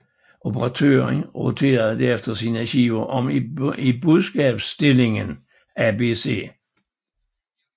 Operatøren roterede derefter sine skiver om i budskabsindstillingen ABC